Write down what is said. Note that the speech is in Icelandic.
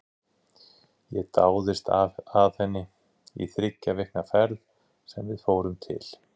Ég dáðist að henni í þriggja vikna ferð sem við fórum til